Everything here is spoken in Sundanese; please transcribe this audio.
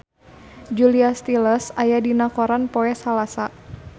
Julia Stiles aya dina koran poe Salasa